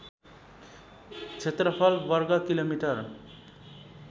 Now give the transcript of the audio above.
क्षेत्रफल वर्ग किलोमिटर